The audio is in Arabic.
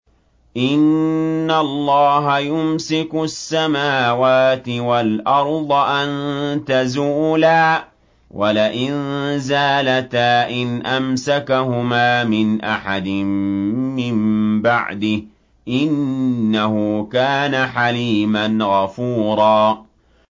۞ إِنَّ اللَّهَ يُمْسِكُ السَّمَاوَاتِ وَالْأَرْضَ أَن تَزُولَا ۚ وَلَئِن زَالَتَا إِنْ أَمْسَكَهُمَا مِنْ أَحَدٍ مِّن بَعْدِهِ ۚ إِنَّهُ كَانَ حَلِيمًا غَفُورًا